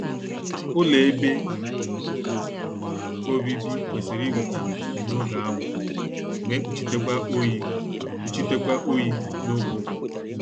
Ụlọ ebe obibi kwesịrị iweta ndo n'oge anwụ mae kpuchitekwa oyi kpuchitekwa oyi n'oge ụgụrụ